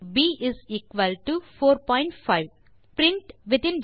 ஆ 2 மற்றும் ப் 45